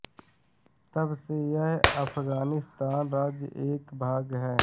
तब से यह अफ़ग़ानिस्तान राज्य का एक भाग है